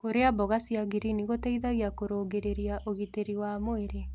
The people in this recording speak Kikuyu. Kũrĩa mmboga cia ngirini gũteĩthagĩa kũrũngĩrĩrĩa ũgĩtĩrĩ wa mwĩrĩ